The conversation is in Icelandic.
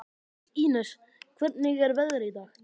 Ínes, hvernig er veðrið í dag?